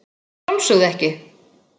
Að sjálfsögðu ekki.